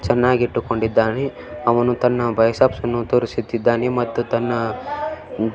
ಚೆನ್ನಾಗಿಟ್ಟುಕೊಂಡಿದ್ದಾನೆ ಅವನು ತನ್ನ ಬೈಸೆಪ್ಸನ್ನು ತೋರಿಸುತ್ತಿದ್ದಾನೆ ಮತ್ತು ತನ್ನ --